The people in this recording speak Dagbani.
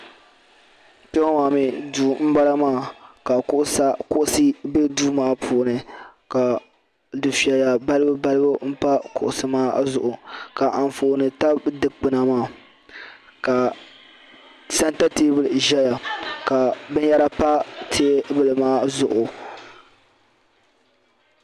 Kpeŋɔ maa mee duu m bala maa ka kuɣusi be duu maa puuni ka dufeya balibu balibu m pa kuɣusi maa zuɣu ka anfooni tabi dikpina maa ka santa teebuli zaya ka binyɛra pa teebumaa zuɣu.